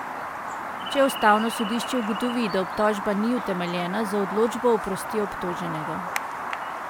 Če ustavno sodišče ugotovi, da obtožba ni utemeljena, z odločbo oprosti obtoženega.